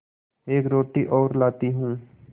एक रोटी और लाती हूँ